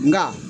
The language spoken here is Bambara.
Nka